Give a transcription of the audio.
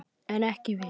En ekki við.